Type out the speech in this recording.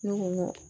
Ne ko n ko